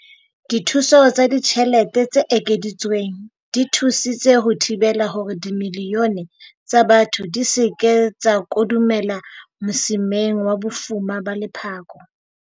Dithuso tsa ditjhelete tse ekeditsweng di thusitse ho thibela hore dimilione tsa batho di se ke tsa kodumela mosimeng wa bofuma ba lephako.